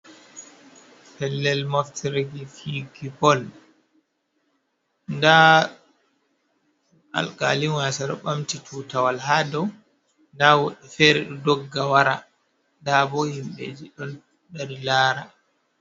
Pellel moftirki fiyuki bol, nda alkalin wasa ɗo ɓamti tutawal hadow, nda woɓɓe fere ɗo ɗogga wara nda bo himɓeji ɗon dari lara.